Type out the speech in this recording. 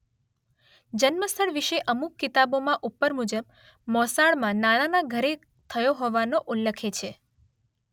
જન્મ સ્થળ વિશે અમુક કિતાબોમાં ઉપર મુજબ મોસાળમાં નાનાના ઘરે થયો હોવાનો ઉલ્લખે છે